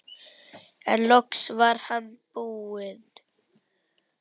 En loks var hann búinn.